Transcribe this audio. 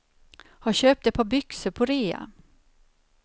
Har köpt ett par byxor på rea.